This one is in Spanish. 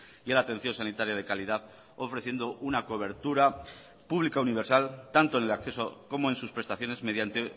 y a la atención sanitaria de calidad ofreciendo una cobertura pública universal tanto en el acceso como en sus prestaciones mediante